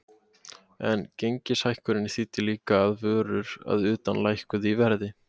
En gengishækkunin þýddi líka að vörur að utan lækkuðu í verði.